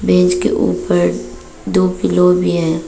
इसके ऊपर दो पिलो भी है।